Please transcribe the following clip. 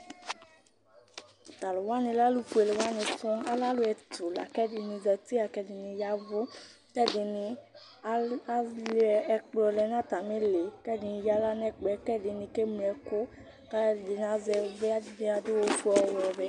T'alʋ wani lɛ atu fuele wani sɔŋ, alɛ alʋ ɛtʋ la k'ɛdini zati, la k'ɛdini yavʋ, k'ɛdini alʋ ɛkplɔ lɛ n'atamili, k'ɛdini eyǝ'ɣla n'ɛkplɔ, k'ɛdini keŋlo ɛkʋ, k'alʋ ɛdini azɛ ivli yɛ, ɛdi adʋ ofue, ɔwɛ, ɔvɛ